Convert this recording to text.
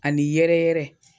A ni yɛrɛ yɛrɛ